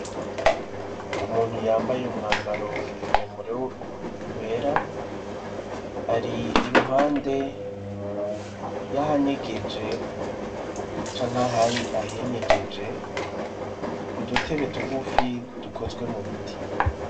Umuntu yambaye umwambaro muremure wera, ari iruhande y'ahanyegeje canke ahinyegeje, udutebe tugufi dukozwe mu biti.